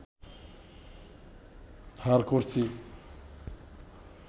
ধার করছি